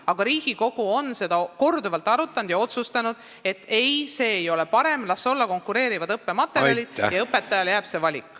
Aga Riigikogu on seda korduvalt arutanud ja otsustanud, et see ei ole parem, las meil olla konkureerivad õppematerjalid ja las õpetajale jääb see valik.